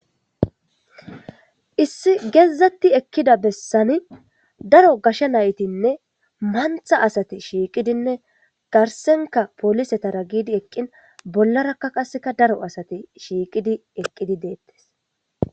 issi geezatti ekkida bessani daro gasha naytinne mantha asate shiiqidinne darsenka polisetara giidi eqqin bollarakka qasseka daro asati shiiqidi eqqidi deettes